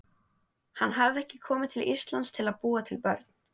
Hann hafði ekki komið til Íslands til að búa til börn.